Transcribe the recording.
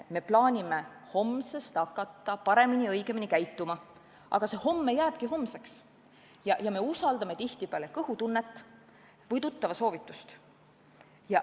Me plaanime homsest hakata paremini ja õigemini käituma, aga see homme jääbki homseks, ja me usaldame tihtipeale kõhutunnet või tuttava soovitust.